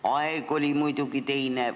Aeg oli muidugi teine.